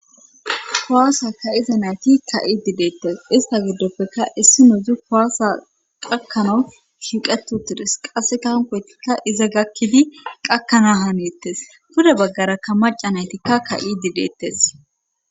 Kuwaasa ka7iza nayti ka7i dideettes ista giddoppeka issino dzu kowaasa qakkano shiiqeto tides qasse kankoytikka iza gakkidi qakkana haneettes pude baggarakka maca naytikka ka7i dideettes.